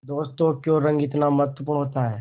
दोस्तों क्यों रंग इतना महत्वपूर्ण होता है